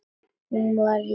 Hún varð ísköld.